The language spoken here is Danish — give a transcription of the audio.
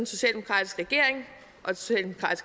socialdemokratiske parti